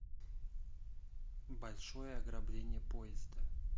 большое ограбление поезда